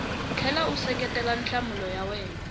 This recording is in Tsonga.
tlhela u seketela nhlamulo ya